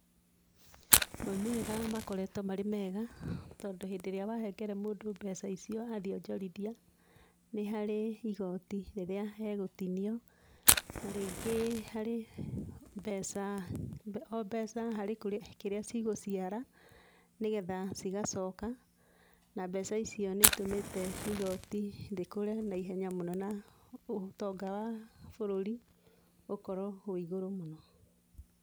Moimĩrĩra makoretwo marĩ mega tondũ hĩndĩ wahengera mũndũ mbeca icio athiĩ onjorithia, nĩ harĩ igoti rĩrĩa egũtinio na rĩngĩ harĩ mbeca, o mbeca harĩ kĩrĩa cigũciara nĩgetha cigacoka na mbeca icio nĩitũmĩte igoti rĩkũre naihenya mũno na ũtonga wa bũrũri ũkorwo wĩ igũrũ mũno.